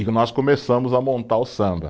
E nós começamos a montar o samba.